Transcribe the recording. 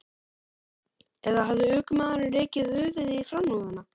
Eða hafði ökumaðurinn rekið höfuðið í framrúðuna?